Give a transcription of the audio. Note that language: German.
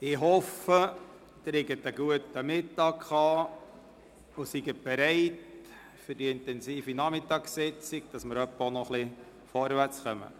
Ich hoffe, Sie hatten einen guten Mittag und sind für die intensive Nachmittagssitzung bereit, damit wir auch noch ein wenig vorwärtskommen.